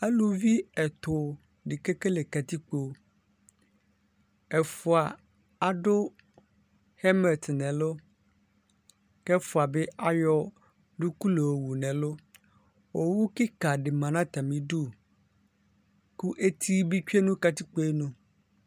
Alʋvi ɛtʋ ni kekele katikpo ɛfʋa adʋ hɛmɛt nʋ ɛflʋ kʋ ɛfʋa bi ayɔ duku layɔ wʋ nʋ ɛlʋ owʋ kika di manʋ atami idʋ kʋ eti bi tsue nʋ katikpoe nʋ